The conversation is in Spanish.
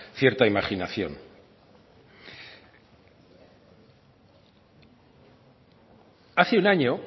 cierta imaginación hace un año